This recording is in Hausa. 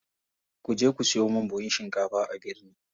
Kuje ku siyo min buhun shinkafa a birni.